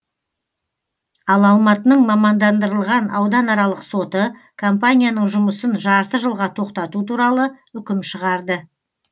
ал алматының мамандандырылған ауданаралық соты компанияның жұмысын жарты жылға тоқтату туралы үкім шығарды